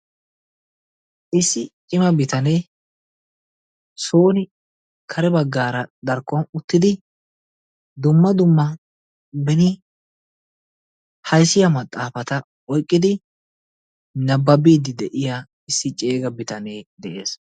issi cima bitanee sooni kare bagaara darkkon uttidi dumma dumma beni hayssiya maxaafata oykkidi nababiidi de'iya issi ceega bitanee de'ees.